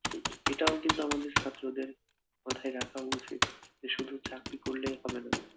এটাও কিন্তু আমাদের ছাত্রদের মাথায় রাখা উচিত যে শুধু চাকরি করলেই হবেনা